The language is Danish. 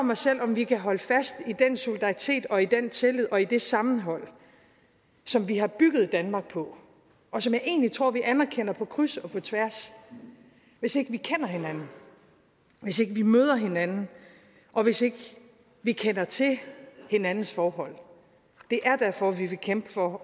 mig selv om vi kan holde fast i den solidaritet og i den tillid og i det sammenhold som vi har bygget danmark på og som jeg egentlig tror vi anerkender på kryds og tværs hvis ikke vi kender hinanden hvis ikke vi møder hinanden og hvis ikke vi kender til hinandens forhold det er derfor vi vil kæmpe for